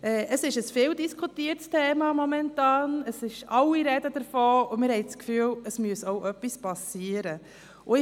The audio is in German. Das Thema wird zurzeit viel diskutiert, alle sprechen darüber, und wir haben das Gefühl, dass etwas passieren muss.